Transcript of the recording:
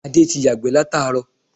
Adé ti yàgbẹ́ látàárọ̀